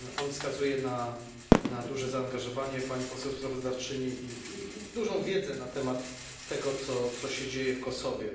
Wskazuje na duże zaangażowanie pani poseł sprawozdawczyni i dużą wiedzę na temat tego, co się dzieje w Kosowie.